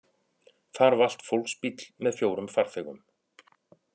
Þar valt fólksbíll með fjórum farþegum